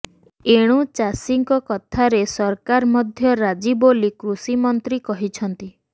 ଏଣୁ ଚାଷୀଙ୍କ କଥାରେ ସରକାର ମଧ୍ୟ ରାଜି ବୋଲି କୃଷିମନ୍ତ୍ରୀ କହିଛନ୍ତି